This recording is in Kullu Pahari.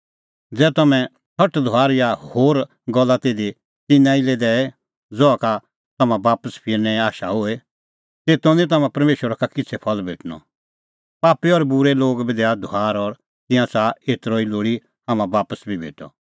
ज़ै तम्हैं सटधुआर या होर गल्ला सिधी तिन्नां लै ई दैए ज़हा का तम्हां बापस फिरनें आशा होए तेतो निं तम्हां परमेशरा का किछ़ै फल भेटणअ पापी और बूरै बी दैआ धुआर और तिंयां च़ाहा कि एतरअ ई लोल़ी हाम्हां बापस बी भेटअ